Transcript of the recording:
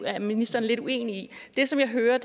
er ministeren lidt uenig det som jeg hører